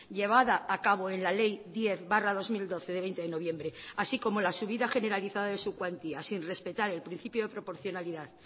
llevada a cabo en la ley diez barra dos mil doce de veinte de noviembre así como la subida generalizada de su cuantía sin respetar el principio de proporcionalidad